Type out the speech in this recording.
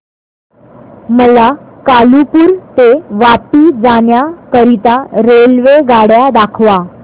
मला कालुपुर ते वापी जाण्या करीता रेल्वेगाड्या दाखवा